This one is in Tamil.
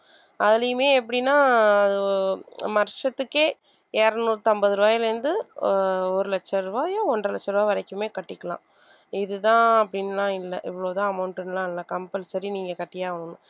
அதிலேயுமே எப்படின்னா அஹ் வருஷத்துக்கே இருநூற்று ஐம்பது ரூபாய்ல இருந்து ஆஹ் ஒரு லட்ச ரூபாயோ ஒன்றரை லட்ச ரூபாய் வரைக்குமே கட்டிக்கலாம் இது தான் அப்படின்லாம் இல்ல இவ்ளோ தான் amount லாம் இல்ல compulsory நீங்க கட்டியே ஆகணும்